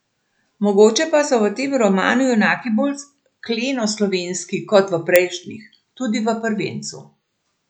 Mogoče pa so v tem romanu junaki bolj kleno slovenski kot v prejšnjih, tudi v prvencu.